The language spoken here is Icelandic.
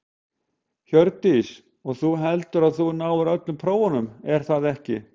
Hjördís: Og þú, heldurðu að þú náir öllum prófunum er það ekki?